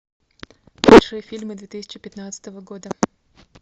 лучшие фильмы две тысячи пятнадцатого года